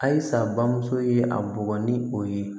Halisa bamuso ye a bugɔ ni o ye